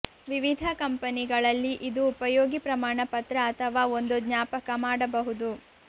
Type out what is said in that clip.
ವಿವಿಧ ಕಂಪನಿಗಳಲ್ಲಿ ಇದು ಉಪಯೋಗಿ ಪ್ರಮಾಣಪತ್ರ ಅಥವಾ ಒಂದು ಜ್ಞಾಪಕ ಮಾಡಬಹುದು